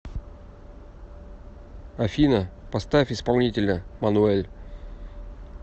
афина поставь исполнителя мануэль